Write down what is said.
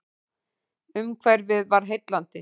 Umhverfið var heillandi.